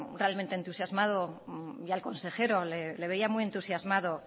realmente entusiasmado y al consejero le veía muy entusiasmado